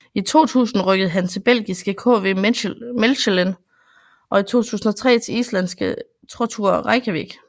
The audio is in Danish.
I 2000 rykkede han til belgiske KV Mechelen og i 2003 til islandske Throttur Reykjavik